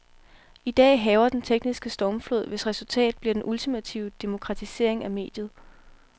I dag hærger den tekniske stormflod, hvis resultat bliver den ultimative demokratisering af mediet.